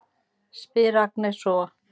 spyr Agnes svo.